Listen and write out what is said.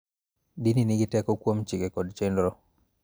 Dini nigi teko kuom chike kod chenro